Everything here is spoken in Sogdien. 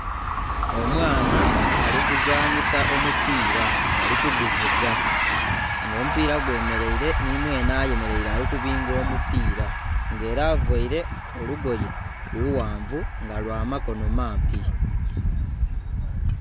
Omwaana ali kuzanhisa omubira ali kuguvuga nga omubira gwe mereire nhi mwenhe ayemereire ali kubinga omupira nga era avaire olugoye lughangavu nga lwa makono mampi